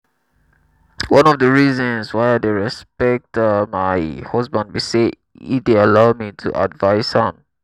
one of the reasons why i dey respect um my husband be say e dey allow me to advice am